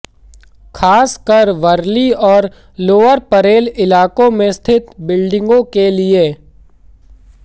खासकर वर्ली और लोअर परेल इलाकों में स्थित बिल्डिंगों के लिए